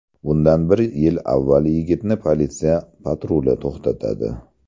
Bundan bir yil avval yigitni politsiya patruli to‘xtatadi.